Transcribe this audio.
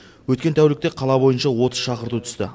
өткен тәулікте қала бойынша отыз шақырту түсті